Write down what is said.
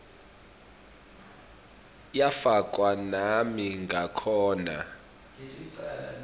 yafakwa nami ngikhona